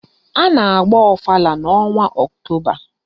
A na-agba ọfala n'ọnwa Ọktoba